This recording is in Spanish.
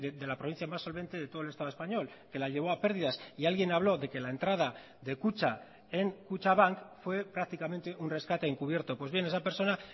de la provincia más solvente de todo el estado español que la llevó a pérdidas y alguien habló de que la entrada de kutxa en kutxabank fue prácticamente un rescate encubierto pues bien esa persona